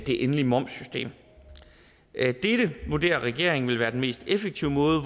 det endelige momssystem dette vurderer regeringen vil være den mest effektive måde